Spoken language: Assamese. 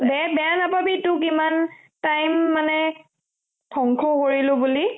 দে বেয়া নাপাবি তোক ইমান time মানে ধ্বংস কৰিলো বুলি